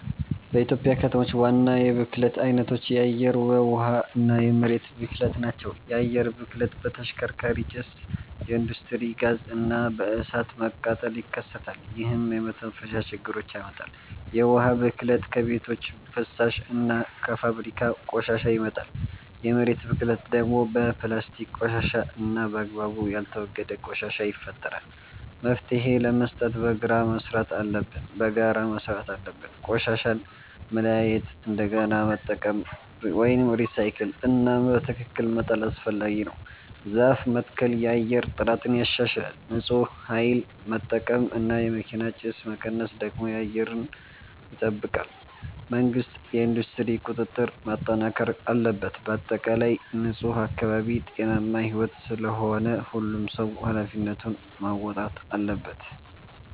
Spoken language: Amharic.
በኢትዮጵያ ከተሞች ዋና የብክለት አይነቶች የአየር፣ የውሃ እና የመሬት ብክለት ናቸው። የአየር ብክለት በተሽከርካሪ ጭስ፣ በኢንዱስትሪ ጋዝ እና በእሳት መቃጠል ይከሰታል፣ ይህም የመተንፈሻ ችግር ያመጣል። የውሃ ብክለት ከቤቶች ፍሳሽ እና ከፋብሪካ ቆሻሻ ይመጣል። የመሬት ብክለት ደግሞ በፕላስቲክ ቆሻሻ እና በአግባቡ ያልተወገደ ቆሻሻ ይፈጠራል። መፍትሄ ለመስጠት በጋራ መስራት አለብን። ቆሻሻን መለያየት፣ እንደገና መጠቀም (recycle) እና በትክክል መጣል አስፈላጊ ነው። ዛፍ መትከል የአየር ጥራትን ያሻሽላል። ንፁህ ኃይል መጠቀም እና የመኪና ጭስ መቀነስ ደግሞ አየርን ይጠብቃል። መንግሥት የኢንዱስትሪ ቁጥጥር ማጠናከር አለበት። በአጠቃላይ ንፁህ አካባቢ ጤናማ ሕይወት ስለሆነ ሁሉም ሰው ኃላፊነቱን መወጣት አለበት።